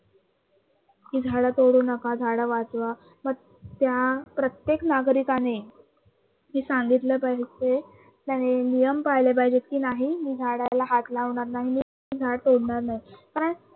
कि झाडं तोडू नका झाडं वाचवा. मग त्या प्रत्येक नागरिकाने हे आणि नियम पाळले पाहिजे कि नाही मी झाडाला हात लावणार नाही, झाडं तोडणार नाही. कारण